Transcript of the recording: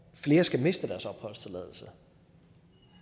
flere skal miste deres opholdstilladelse